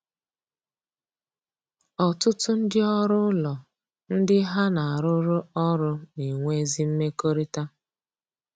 Ọtụtụ ndị ọrụ ụlọ ndị ha na arụ rụ ọrụ na-enwe ezi mmekọrịta